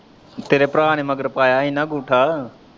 ਤੇਰੇ ਭਰਾ ਨੇ ਮਗਰ ਪਾਇਆ ਹੀ ਨਾ ਅੰਗੂਠਾ ।